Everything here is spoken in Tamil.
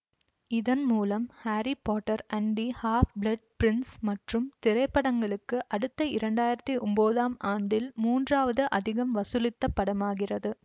இதன் மூலம் Harry Potter and the Half Blood Prince மற்றும் திரைப்படங்களுக்கு அடுத்து இரண்டாயிரத்தி ஒன்பதாம் ஆண்டில் மூன்றாவது அதிகம் வசூலித்த படமாகிறது